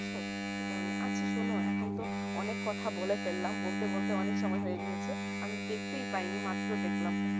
এই কারণে আচ্ছা শুনো এখন তো অনেক কথা বলে ফেলাম বলতে বলতে অনেক সময়ে হয়ে গিয়েছে আমি দেখতে প্রায়ই নি মাত্র দেখলাম